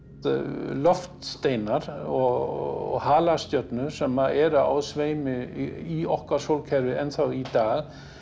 loftsteinar og halastjörnur sem eru á sveimi í okkar sólkerfi enn þá í dag